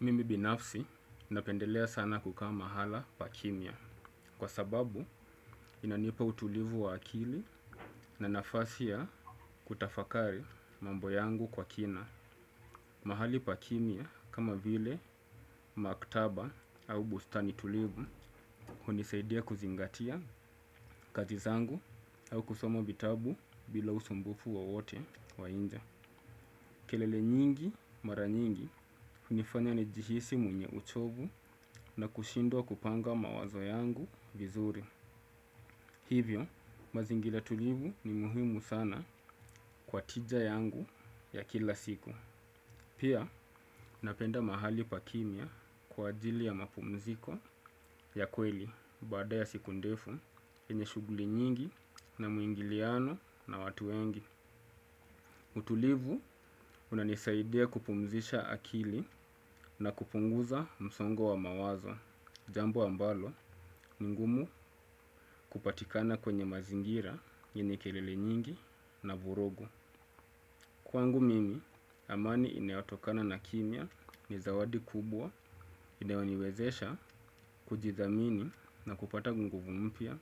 Mimi binafsi napendelea sana kukaa mahala pakimya kwa sababu inanipa utulivu wa akili na nafasi ya kutafakari mambo yangu kwa kina. Mahali pakimya kama vile maktaba au bustani tulivu hunisaidia kuzingatia kazi zangu au kusomo vitabu bila usumbufu wowote wa inje. Kelele nyingi mara nyingi unifanya nijihisi mwenye uchovu na kushindwa kupanga mawazo yangu vizuri. Hivyo, mazingila tulivu ni muhimu sana kwa tija yangu ya kila siku. Pia, napenda mahali pakimya kwa ajili ya mapumziko ya kweli baada ya siku ndefu yenye shuguli nyingi na muingiliano na watu wengi. Utulivu unanisaidia kupumzisha akili na kupunguza msongo wa mawazo, jambo ambalo ni ngumu kupatikana kwenye mazingira yenye kelele nyingi na vurugu. Kwangu mimi, amani inayotokana na kimya ni zawadi kubwa inayo niwezesha kujidhamini na kupata nguvu mpya